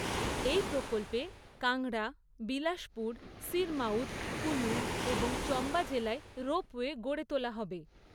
এই প্রকল্পে কাঙড়া, বিলাসপুর, সিরমাউর, কুলু এবং চম্বা জেলায় রোপওয়ে গড়ে তোলা হবে।